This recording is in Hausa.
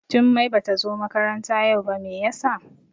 Jummai Bata zo makaranta yau ba, Mai ya sa?